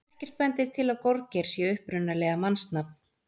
Ekkert bendir til að gorgeir sé upprunalega mannsnafn.